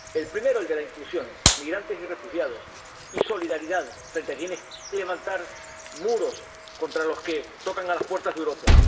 El primero, el de la inclusión —migrantes y refugiados— y solidaridad frente a quienes levantan muros contra los que tocan a las puertas de Europa.